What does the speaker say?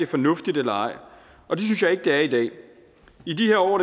fornuftigt eller ej og det synes jeg ikke det er i dag i de her år